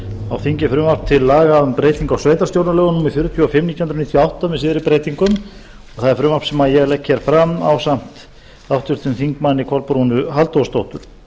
á þingi frumvarp til laga um breytingu á sveitarstjórnarlögum númer fjörutíu og fimm nítján hundruð níutíu og átta með síðari breytingum það er frumvarp sem ég legg fram ásamt háttvirtum þingmanni kolbrúnu halldórsdóttur